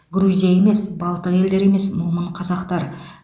грузия емес балтық елдері емес момын қазақтар